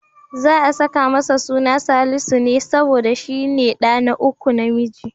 Za'a saka masa suna Salisu ne, saboda shi ne ɗa na uku namiji.